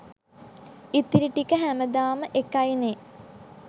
ඉතිරි ටික හැමදාම එකයි නෙ